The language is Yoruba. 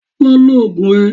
Lọ lò Ògùn ẹ.